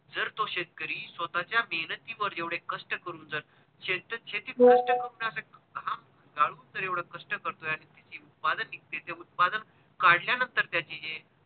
जर तो शेतकरी स्वतःच्या मेहेनतीवर एवढे कष्ट करून जर शेतीत कष्ट करून जर घाम गाळून जर एवढे कष्ट करतोय आणि त्याचे उत्पादन निघते ते उत्पादन काढल्या नंतर त्याची जे